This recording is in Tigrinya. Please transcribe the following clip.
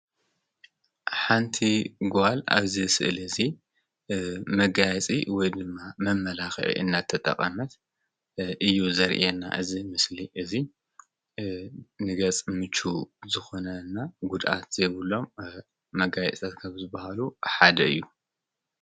ሓንቲ ጓል ኣብዝ ስእሊ እዙ መጋያፂ ወ ድማ መመላኽ እናተጠቓመት እዩ ዘርአና እዝ ምስሊ እዙይ ንገጽ ምች ዝኾነና ጕድኣት ዘይብሎም መጋይጸትከብ ዝበሃሉ ሓደ እ ዬ ::